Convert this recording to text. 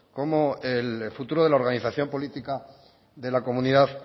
como el futuro de la organización política de la comunidad